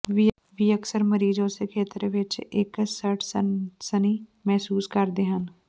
ਵੀ ਅਕਸਰ ਮਰੀਜ਼ ਉਸੇ ਖੇਤਰ ਵਿੱਚ ਇੱਕ ਸੜ ਸਨਸਨੀ ਮਹਿਸੂਸ ਕਰਦੇ ਹਨ